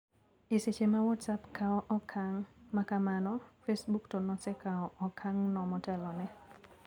Eseche ma whatsapp kao okang` makamano, facebook to nosekao okang`no motelone.